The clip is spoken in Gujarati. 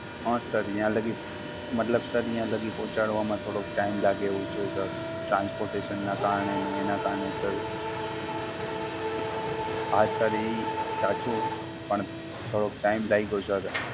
હઁ Sir ન્યા લાગી, મતલબ Sir ન્યા લાગી પહોંચાડવા માં થોડોક Time લાગે એવું છે Sir. Transportation નાં કારણે ને એનાં કારણે Sir. હાં Sir ઈ સાચું, પણ થોડોક Time લાયગો Sir,